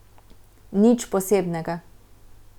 Nič posebnega.